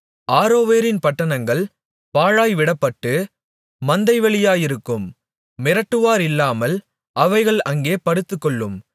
ஆரோவேரின் பட்டணங்கள் பாழாய் விடப்பட்டு மந்தை வெளியாயிருக்கும் மிரட்டுவாரில்லாமல் அவைகள் அங்கே படுத்துக்கொள்ளும்